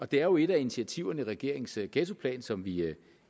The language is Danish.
det er jo et af initiativerne i regeringens ghettoplan som vi